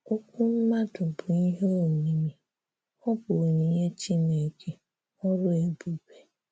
“Òkwù̀ mmadụ bụ̀ ihè omimi; ọ bụ̀ onyinyè Chineke, ọrụ̀ ebube.”